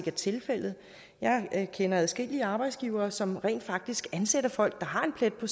er tilfældet jeg kender adskillige arbejdsgivere som rent faktisk ansætter folk der har en plet på